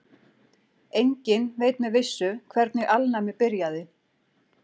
Enginn veit með vissu hvernig alnæmi byrjaði.